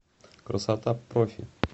красота профи